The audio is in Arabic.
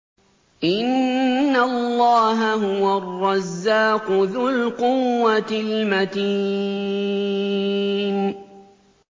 إِنَّ اللَّهَ هُوَ الرَّزَّاقُ ذُو الْقُوَّةِ الْمَتِينُ